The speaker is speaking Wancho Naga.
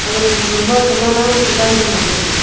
ag photo ma saman hang pe dukan kha ngantaiga.